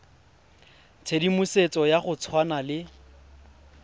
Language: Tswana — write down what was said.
tshedimosetso ya go tshwana le